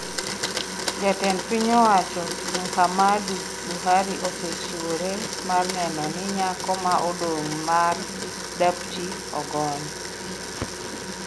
"Jatend piny owacho Muhammadu Buhari osechiwore mar neno ni nyako ma odong' mar Dapchi ogony".